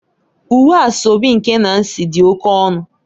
Uwe asoebi nke Nancy dị oke ọnụ